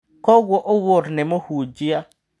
Kogũo Owuor nĩ mũhunjia.